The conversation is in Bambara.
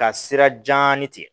Ka sira janni tɛ